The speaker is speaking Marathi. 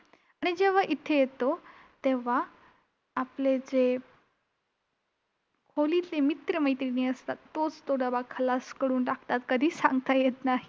आणि जेव्हा इथे येतो तेव्हा आपले जे खोलीतले मित्र-मैत्रिणी असतात, तोच तो डबा खलास करून टाकतात कधीच सांगता येत नाही.